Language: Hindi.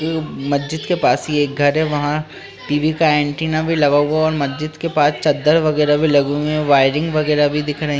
ये मज्जिद के पास ही एक घर है। वहाँ टी.वी. का एंटेना भी लगा हुआ है और मस्जिद के पास चद्दर वगैरा भी लगे हुए हैं वायरिंग वगैरा भी दिख रहें --